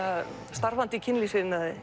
starfandi í kynlífsiðnaði